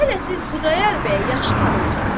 Hələ siz Xudayar bəyi yaxşı tanımırız.